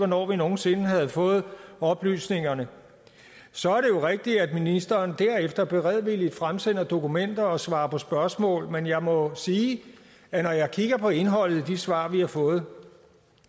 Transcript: nogen sinde havde fået oplysningerne så er det rigtigt at ministeren derefter beredvilligt fremsender dokumenter og svarer på spørgsmål men jeg må sige at når jeg kigger på indholdet af de svar vi har fået